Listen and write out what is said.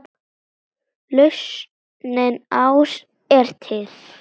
Lausnin ás er til.